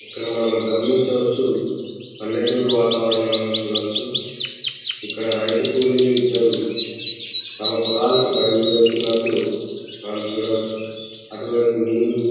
ఇక్కడ మనం గమనించవచ్చు. పల్లెటూరు వాతావరణం చూడవచ్చు. ఇక్కడ రైతు కూలీలు ఇద్దరు తమ పొలాలకు బయలుదేరుతున్నట్టు మనం చూడవచ్చు. అటువైపు నీరు--